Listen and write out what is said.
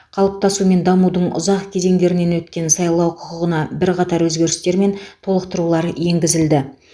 қалыптасу мен дамудың ұзақ кезеңдерінен өткен сайлау құқығына бірқатар өзгерістер мен толықтырулар енгізілді